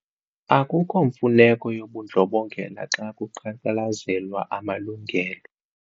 Akukho mfuneko yobundlobongela xa kuqhankqalazelwa amalungelo.